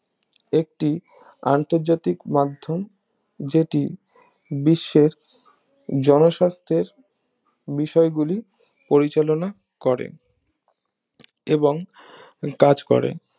একটি আন্তর্জাতিক মাধ্যম যেটি বিশ্বের জনস্বাস্থ্যের বিষয়গুলি পরিচালনা করে এবং কাজ করে